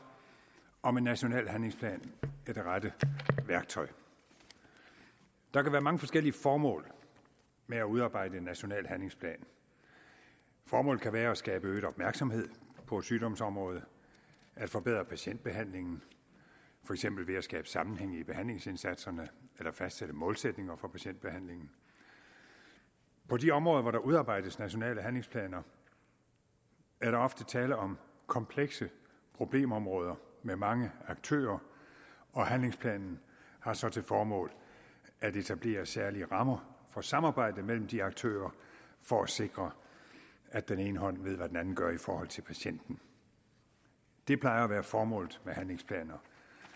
om en national handlingsplan er det rette værktøj der kan være mange forskellige formål med at udarbejde en national handlingsplan formålet kan være at skabe øget opmærksomhed på et sygdomsområde at forbedre patientbehandlingen for eksempel ved at skabe sammenhæng i behandlingsindsatserne eller fastsætte målsætninger for patientbehandlingen på de områder hvor der udarbejdes nationale handlingsplaner er der ofte tale om komplekse problemområder med mange aktører og handlingsplanen har så til formål at etablere særlige rammer for samarbejde mellem de aktører for at sikre at den ene hånd ved hvad den anden gør i forhold til patienten det plejer at være formålet med handlingsplaner